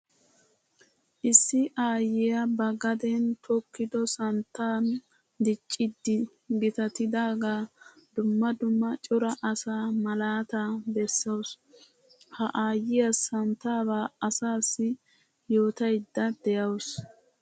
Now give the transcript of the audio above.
Issi aayiya ba gaden tokkiddo santtan dicciddi gitattidaga dumma dumma cora asaa malatta besawussu. Ha aayiya santtaba asassi yootaydde de'awussu.